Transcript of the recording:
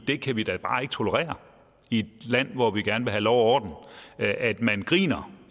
det kan vi da bare ikke tolerere i et land hvor vi gerne vil have lov og orden at at man griner